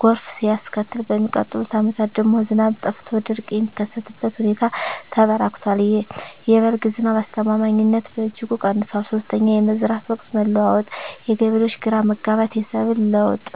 ጎርፍ ሲያስከትል፣ በሚቀጥሉት ዓመታት ደግሞ ዝናብ ጠፍቶ ድርቅ የሚከሰትበት ሁኔታ ተበራክቷል። የ"በልግ" ዝናብ አስተማማኝነትም በእጅጉ ቀንሷል። 3)የመዝራት ወቅት መለዋወጥ: የገበሬዎች ግራ መጋባት፣ የሰብል ለውጥ